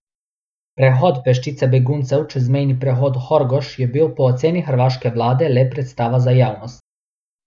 Prehod peščice beguncev čez mejni prehod Horgoš je bil po oceni hrvaške vlade le predstava za javnost.